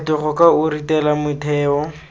phetogo ka o ritela metheo